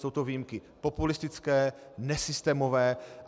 Jsou to výjimky populistické, nesystémové.